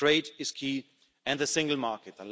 Trade is key, and the single market.